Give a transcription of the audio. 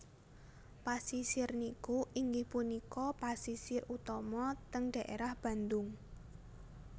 Pasisir niki inggih punika pasisir utama teng daerah Bandung